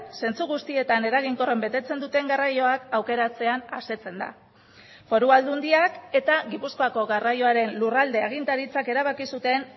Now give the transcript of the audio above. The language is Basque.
zentzu guztietan eraginkorren betetzen duten garraioak aukeratzean asetzen da foru aldundiak eta gipuzkoako garraioaren lurralde agintaritzak erabaki zuten